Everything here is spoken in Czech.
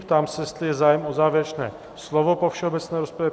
Ptám se, jestli je zájem o závěrečné slovo po všeobecné rozpravě.